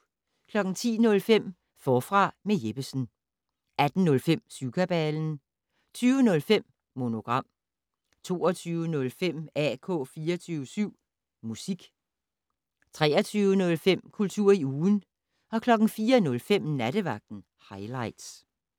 10:05: Forfra med Jeppesen 18:05: Syvkabalen 20:05: Monogram 22:05: AK 24syv Musik 23:05: Kultur i ugen 04:05: Nattevagten Highligts